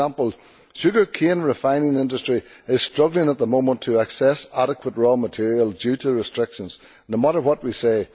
for example the sugar cane refining industry is struggling at the moment to access adequate raw materials due to restrictions, no matter what we say.